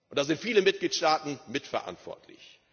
Da sind viele Mitgliedstaaten mitverantwortlich.